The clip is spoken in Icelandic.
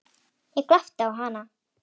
Ég glápti á hana.